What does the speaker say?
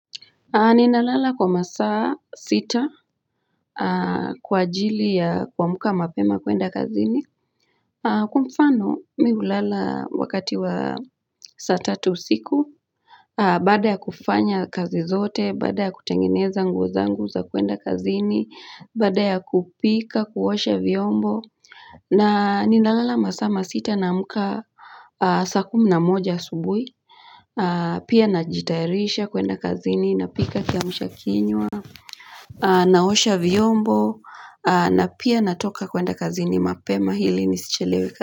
Ninalala kwa masaa sita kwa ajili ya kuamka mapema kuenda kazini. Kwa mfano mi hulala wakati wa saa tatu usiku. Baada ya kufanya kazi zote, baada ya kutengeneza nguo zangu za kuenda kazini, baada ya kupika, kuosha vyombo. Na ninalala masaa masita naamka saa kumi na moja asubui. Pia najitayarisha kuenda kazini, napika kiamsha kinywa. Naosha vyombo na pia natoka kwenda kazini mapema ili nisichelewe kazi.